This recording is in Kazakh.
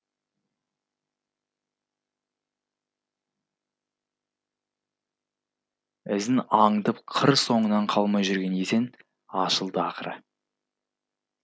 ізін аңдып қыр соңынан қалмай жүрген есен ашылды ақыры